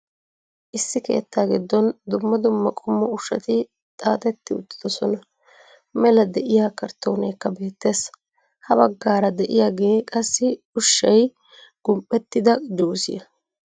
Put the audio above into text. Issi keettaa giddon dumma dumma qommo ushshati xaaxxeti uttiddossona. Mela de'iya karttooneekka beettees, ha baggaara de'iyagee qassi ushshay gum'ettida jusiya.